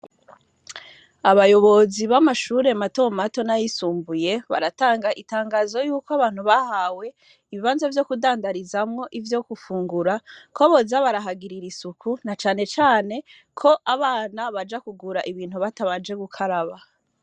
Abayobozi bamashure mato mato nayisumbuye baratanga itangazo yuko abantu bahawe ibibanza vyo kudandarizamwo ivyo gufungura ko boza barahagirira isuku na cane cane ko abana baja kugura ibintu batabanje gukaraba.